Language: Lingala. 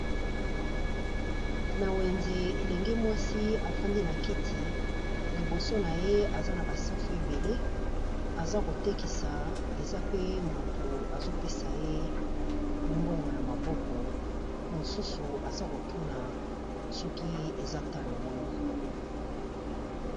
Na wenze elenge mwasi afandi na kiti liboso na ye aza na ba safu ebele, aza ko tekisa eza pe motu azo pesa ye mbongo na maboko. Mosusu aza ko tuna soki eza talo boni.